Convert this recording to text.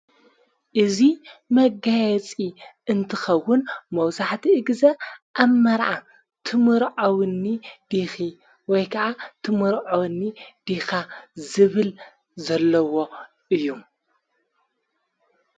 እዙይ መጋየፂ እንትኸውን መውሳሕቲ እግዘ ኣብ መርዓ ትምርዖውኒ ዲኺ ወይ ከዓ ትምርዖወኒ ዲኻ ዝብል ዘለዎ እዩ::